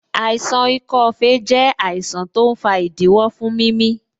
Àìsàn ikọ́ fèé jẹ àìsàn tó ń fa ìdíwọ́ fún mimi